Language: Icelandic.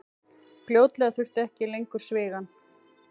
Fljótlega þurfti ekki lengur svigann.